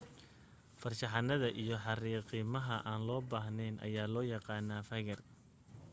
farshaxanada iyo xariijimaha aan loo baahnayn ayaa loo yaqaan faygar